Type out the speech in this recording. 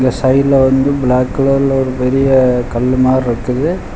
சைடுல வந்து பிளாக் கலர்ல ஒரு பெரிய கல்லு மாருக்குது.